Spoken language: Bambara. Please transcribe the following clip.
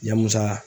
Ya musa